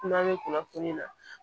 Kumana m kunnafoniya